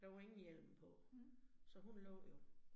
Der var ingen hjelm på, så hun lå jo